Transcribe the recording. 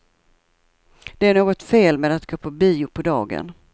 Det är något fel med att gå på bio på dagen.